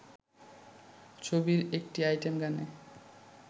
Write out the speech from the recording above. ছবির একটি আইটেম গানে